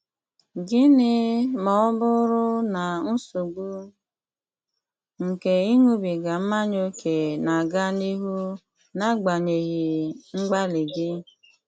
Gịnị ma ọ bụrụ na nsogbu nke ịṅụbiga mmanya ókè na-aga n'ihu n'agbanyeghị mgbalị gị?